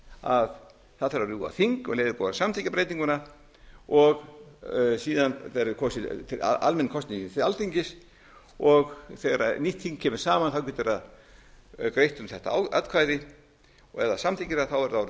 að það þarf að rjúfa þing um leið og er búið að samþykkja breytinguna og síðan verði almennar kosningar til alþingis þegar nýtt þing kemur saman getur það greitt um þetta atkvæði ef það samþykkir það er það orðið